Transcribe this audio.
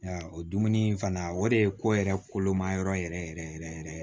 O dumuni in fana o de ye ko yɛrɛ kolon mayɔrɔ yɛrɛ yɛrɛ yɛrɛ